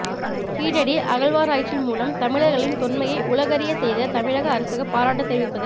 கீழடி அகழ்வாராய்ச்சி மூலம் தமிழர்களின் தொன்மையை உலகறிய செய்த தமிழக அரசுக்கு பாராட்டு தெரிவிப்பது